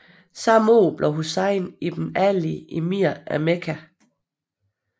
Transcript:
Samme år blev Hussein ibn Ali emir af Mekka